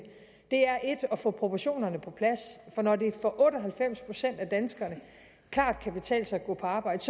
at få proportionerne på plads for når det for otte og halvfems procent af danskerne klart kan betale sig at gå på arbejde